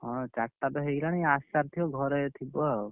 ହଁ ଚାରିଟା ତ, ହେଇଗଲାଣି ଆସିସାରିଥିବ ଘରେ ଥିବ ଆଉ।